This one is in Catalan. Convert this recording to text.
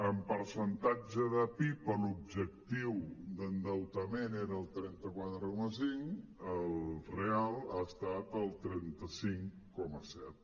en percen·tatge de pib l’objectiu d’endeutament era el trenta quatre coma cinc el real ha estat el trenta cinc coma set